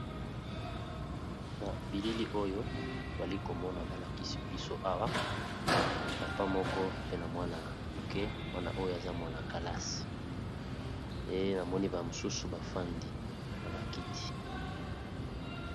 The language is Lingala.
Na bilili oyo toali komona balakisi biso awa papa moko pe na mwana moke wana oyo aza mwana kalasi e na moni ba mosusu bafandi na bakiti.